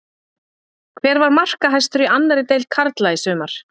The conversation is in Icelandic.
Hver var markahæstur í annarri deild karla í sumar?